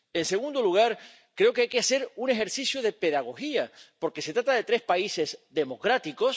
En segundo lugar, creo que hay que hacer un ejercicio de pedagogía porque se trata de tres países democráticos.